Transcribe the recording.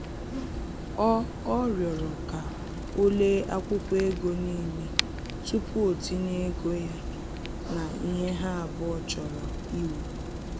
Ọ Ọ rịọrọ ka o lee akwụkwọ ego n'ile tupu o tinye ego ya na ihe ha abụọ chọrọ iwu